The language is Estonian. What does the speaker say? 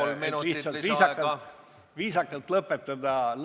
Palun, annan kolm minutit lisaaega!